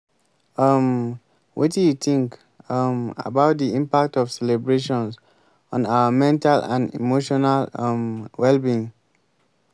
um wetin you think um about di impact of celebrations on our mental and emotional um well-being?